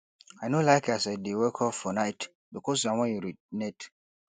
i no like as i dey wake up for night because i wan urinate